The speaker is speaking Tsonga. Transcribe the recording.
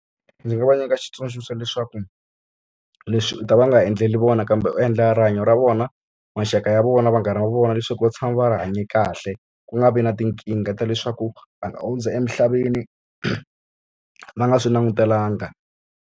Ndzi nga va nyika xitsundzuxo xa leswaku, leswi u ta va nga endleli vona kambe u endlela rihanyo ra vona, maxaka ya vona, vanghana va vona, leswaku va tshama va ri hanye kahle. Ku nga vi na tinkingha ta leswaku va nga hundza emisaveni va nga swi langutelanga.